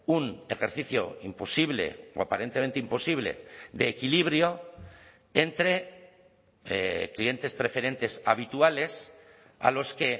un ejercicio imposible o aparentemente imposible de equilibrio entre clientes preferentes habituales a los que